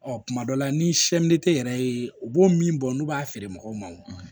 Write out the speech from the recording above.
Ɔ kuma dɔ la ni yɛrɛ ye u b'o min bɔ n'u b'a feere mɔgɔw ma o